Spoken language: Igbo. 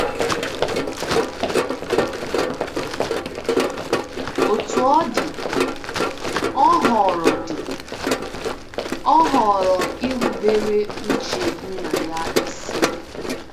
Otú ọ dị, ọ họọrọ dị, ọ họọrọ irubere uche Nna ya isi.